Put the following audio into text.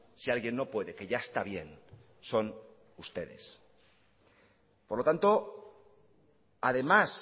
si alguien no puede que ya está bien son ustedes por lo tanto además